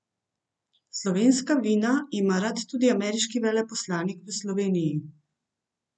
Slovenska vina ima rad tudi ameriški veleposlanik v Sloveniji.